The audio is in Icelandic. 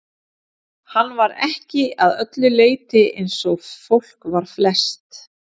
Hann var ekki að öllu leyti eins og fólk var flest.